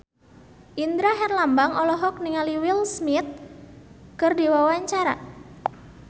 Indra Herlambang olohok ningali Will Smith keur diwawancara